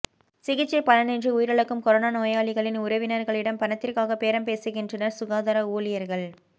சிகிச்சை பலனின்றி உயிரிழக்கும் கொரோனா நோயாளிகளின் உறவினர்களிடம் பணத்திற்காக பேரம் பேசுகின்றனர் சுகாதார ஊழியர்கள்